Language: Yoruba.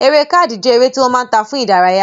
Eré káàdì jẹ́ eré tí wọ́n máa ń ta fún ìdárayá